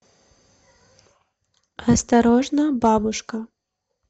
осторожно бабушка